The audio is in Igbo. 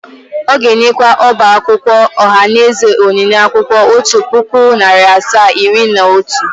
Ó ga-enyekwa ọba akwụkwọ ohanaeze onyinye akwụkwọ otu puku, nari asaa, iri asaa na otu.